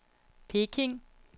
Peking